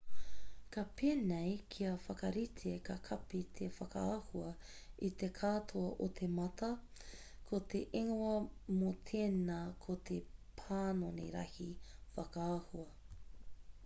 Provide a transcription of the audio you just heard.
ka pēnei kia whakarite ka kapi te whakaahua i te katoa o te mata ko te ingoa mō tēnā ko te panoni rahi whakaahua